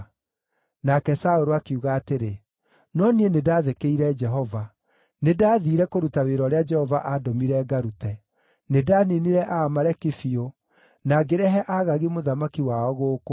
Nake Saũlũ akiuga atĩrĩ, “No niĩ nĩndathĩkĩire Jehova; nĩndathiire kũruta wĩra ũrĩa Jehova aandũmire ngarute. Nĩndaniinire Aamaleki biũ, na ngĩrehe Agagi mũthamaki wao gũkũ.